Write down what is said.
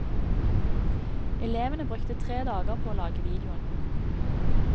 Elevene brukte tre dager på å lage videoen.